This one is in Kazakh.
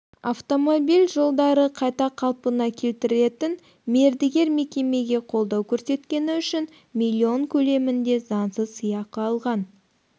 автомобиль жолдарын қайта қалпына келтіретін мердігер мекемеге қолдау көрсеткені үшін миллион көлемінде заңсыз сыйақы алған